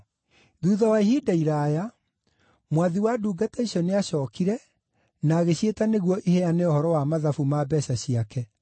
“Thuutha wa ihinda iraaya, mwathi wa ndungata icio nĩacookire na agĩciĩta nĩguo iheane ũhoro wa mathabu ma mbeeca ciake.